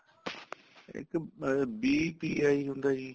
ਇੱਕ BPI ਹੁੰਦਾ ਜੀ